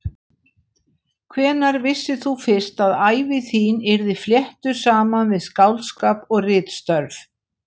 Hvenær vissir þú fyrst að ævi þín yrði fléttuð saman við skáldskap og ritstörf?